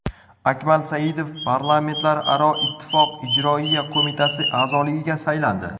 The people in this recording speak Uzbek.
Akmal Saidov Parlamentlararo Ittifoq Ijroiya qo‘mitasi a’zoligiga saylandi.